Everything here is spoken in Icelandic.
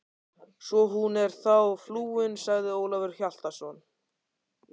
Svo hún er þá flúin, sagði Ólafur Hjaltason.